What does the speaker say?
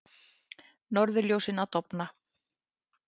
Norðurljósin að dofna